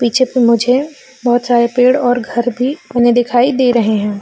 पीछे पे मुझे बहुत सारे पेड़ और घर बने दिखाई दे रहे हैं।